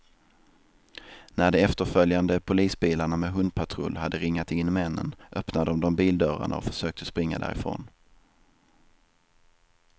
När de efterföljande polisbilarna med hundpatrull hade ringat in männen, öppnade de bildörrarna och försökte springa därifrån.